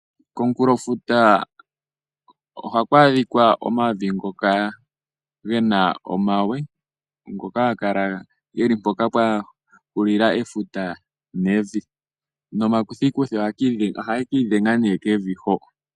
Komunkulofuta ohaku adhika omavi ngoka gena omawe ngoka haga kala mpoka pwa hulila efuta nevi nomakuthikuthi ohaga ka idhenga nee kevi ho